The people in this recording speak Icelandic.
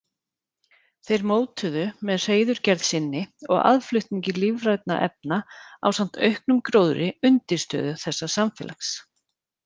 Þeir mótuðu með hreiðurgerð sinni og aðflutningi lífrænna efna ásamt auknum gróðri undirstöðu þessa samfélags.